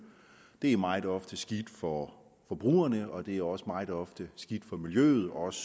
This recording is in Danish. det er meget ofte skidt for forbrugerne og det er også meget ofte skidt for miljøet også